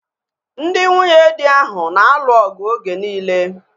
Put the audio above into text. Ndị nwunyedi ahu na-alụ ọgụ oge niile